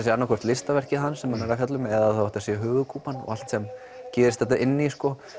sé annaðhvort listaverkið hans sem hann er að fjalla um eða þá að þetta sé höfuðkúpan og allt sem gerist þarna inni